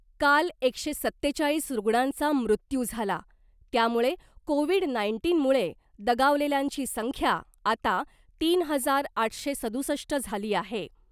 काल एकशे सत्तेचाळीस रुग्णांचा मृत्यू झाला त्यामुळे कोविड नाईंटीन मुळे दगावलेल्यांची संख्या आता तीन हजार आठशे सदुसष्ट झाली आहे .